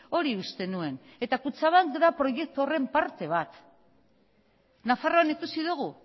hori uste nuen eta kutxabank da proiektu horren parte bat nafarroan ikusi dugu